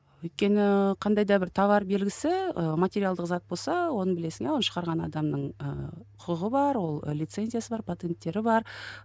өйткені қандай да бір товар белгісі ы материалдық зат болса оны білесің оны шығарған адамның ы құқығы бар ол лицензиясы бар патенттері бар